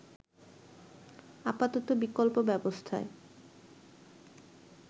আপাতত বিকল্প ব্যবস্থায়